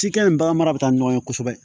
Cikɛ ni bagan mara bɛ taa ni ɲɔgɔn ye kosɛbɛ